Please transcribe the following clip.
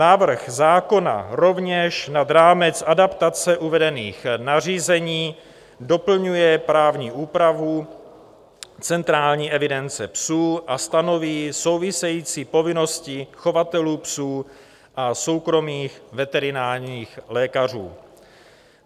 Návrh zákona rovněž nad rámec adaptace uvedených nařízení doplňuje právní úpravu centrální evidence psů a stanoví související povinnosti chovatelů psů a soukromých veterinárních lékařů.